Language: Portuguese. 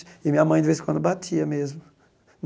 E minha mãe, de vez em quando, batia mesmo.